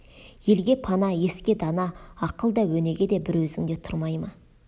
елге пана еске дана ақыл да өнеге де бір өзіңде тұрмай ма